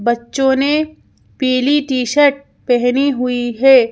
बच्चों ने पीली टी_शर्ट पहनी हुई है।